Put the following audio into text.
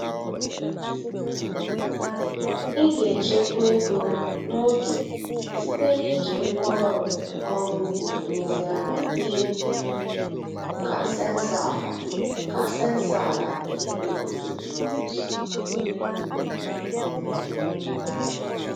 Ị ga-echekwa ego na oge site n’iji ngwaọrụ ọrụ ugbo nlezianya dị ka sensọ ala ka sensọ ala na igwefoto drones.